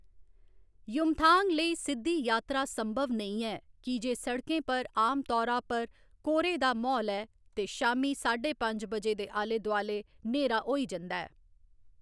युमथांग लेई सिद्धी यात्रा संभव नेईं ऐ की जे सड़कें पर आम तौरा उप्पर कोह्‌रे दा म्हौल ऐ ते शामीं साढे पंज बजे दे आले दुआले न्हेरा होई जंदा ऐ।